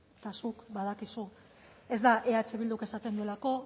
eta zuk badakizu ez da eh bilduk esaten duelako